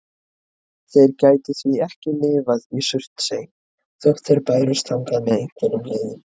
Þeir gætu því ekki lifað í Surtsey þótt þeir bærust þangað með einhverjum leiðum.